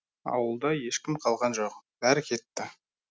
ауылда ешкім қалған жоқ бәрі кетті